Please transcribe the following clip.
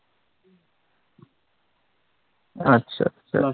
আচ্ছা আচ্ছা আচ্ছা